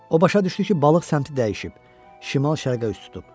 O başa düşdü ki, balıq səmtini dəyişib, şimal-şərqə üz tutub.